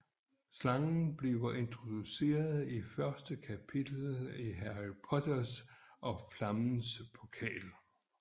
Slangen bliver introduceret i første kapitel i Harry Potter og Flammernes Pokal